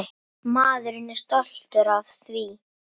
Maður er stoltur af því.